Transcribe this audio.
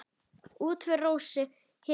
Útför Rósu hefur farið fram.